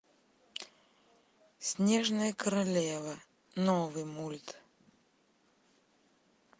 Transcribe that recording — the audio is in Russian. снежная королева новый мульт